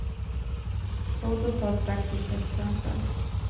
Låt oss ta ett praktiskt exempel.